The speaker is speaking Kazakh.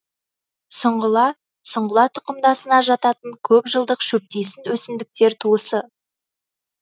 сұңғыла сұңғыла тұқымдасына жататын көп жылдық шөптесін өсімдіктер туысы